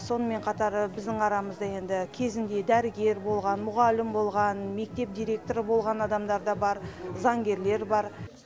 сонымен қатар біздің арамызда енді кезінде дәрігер болған мұғалім болған мектеп директоры болған адамдар да бар заңгерлер бар